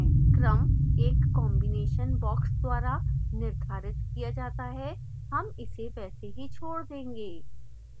क्रम एक combination box द्वारा निर्धारित किया जाता है हम इसे वैसे ही छोड़ देंगे